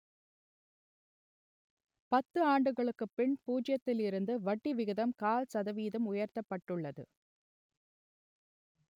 பத்து ஆண்டுகளுக்குப் பின் பூஜ்ஜியத்தில் இருந்து வட்டி விகிதம் கால் சதவீதம் உயர்த்தப்பட்டுள்ளது